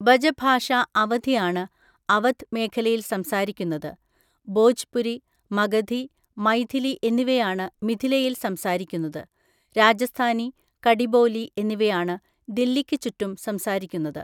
ബജഭാഷ അവധി ആണ് അവധ് മേഖലയിൽ സംസാരിക്കുന്നത്. ബോജ്പുരി, മഗധി, മൈഥിലി എന്നിവയാണ് മിഥിലയിൽ സംസാരിക്കുന്നത്. രാജസ്ഥാനി, കഡിബോലി എന്നിവയാണ് ദില്ലിക്ക് ചുറ്റും സംസാരിക്കുന്നത്.